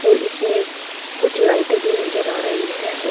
और इसमें कुछ लाइटें भी नजर आ रही हैं।